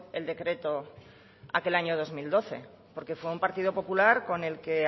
el decreto aquel año dos mil doce porque fue un partido popular con el que